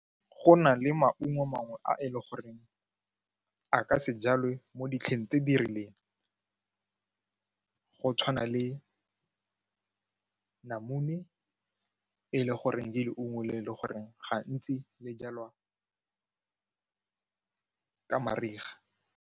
Go na le maungo mangwe a e le goreng a ka se jalwe mo ditlheng tse di rileng go tshwana le namune e leng gore ke leungo le e leng gore gantsi le jalwa ka mariga.